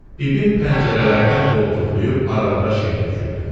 Bibim pəncərələrdən qoltuqlayıb aralığa şey tökürdü.